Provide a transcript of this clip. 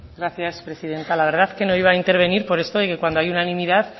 gracias presidenta la verdad que no iba a intervenir pero esto de que cuando hay unanimidad